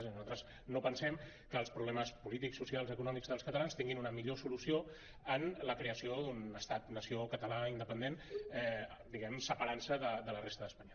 és a dir nosaltres no pensem que els problemes polítics socials econòmics dels catalans tinguin una millor solució en la creació d’un estat nació català independent diguem ne separant se de la resta d’espanya